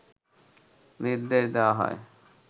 নির্দেশ দেওয়া হয়